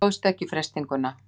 Stóðst ekki freistinguna.